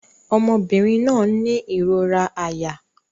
Ọmọbìnrin náà ń ní ìrora àyà